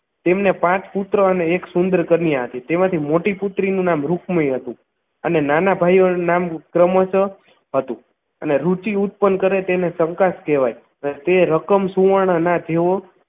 તેમને પાંચ પુત્ર અને એક સુંદર કન્યા છે તેમાંથી મોટી પુત્રીનું નામ રુક્મી હતું અને નાના ભાઈઓનું નામ ક્રમશ હતું અને રુચિ ઉત્પન્ન કરે તેને શંકા જ કહેવાય અને તે રકમ સુવર્ણ ના તેઓ